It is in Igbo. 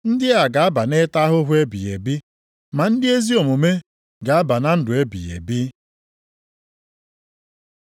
“Ndị a ga-aba nʼịta ahụhụ ebighị ebi. Ma ndị ezi omume ga-aba na ndụ ebighị ebi.”